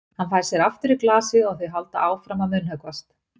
Hann fær sér aftur í glasið og þau halda áfram að munnhöggvast.